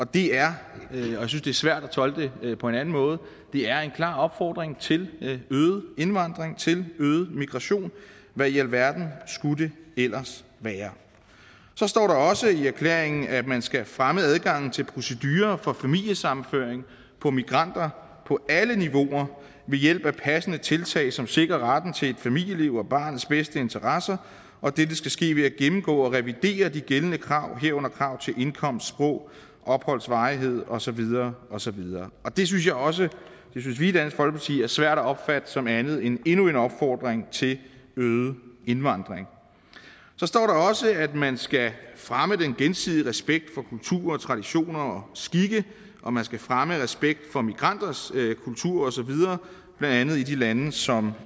det er svært at tolke det på en anden måde det er en klar opfordring til øget indvandring til øget migration hvad i alverden skulle det ellers være så står der også i erklæringen at man skal fremme adgangen til procedurer for familiesammenføring af migranter på alle niveauer ved hjælp af passende tiltag som sikrer retten til et familieliv og barnets bedste interesser at dette skal ske ved at gennemgå og revidere de gældende krav herunder krav til indkomst sprog opholds varighed og så videre og så videre det synes vi også i dansk folkeparti er svært at opfatte som andet end endnu en opfordring til øget indvandring så står der også at man skal fremme den gensidige respekt for kulturer og traditioner og skikke og man skal fremme respekt for migranters kultur osv blandt andet i de lande som